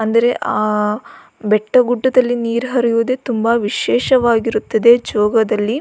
ಅಂದರೆ ಅ ಬೆಟ್ಟ ಗುಡ್ಡದಲ್ಲಿ ನೀರ್ ಹರಿಯುವುದೆ ತುಂಬ ವಿಶೇಷವಾಗಿರುತ್ತದೆ ಜೋಗದಲ್ಲಿ.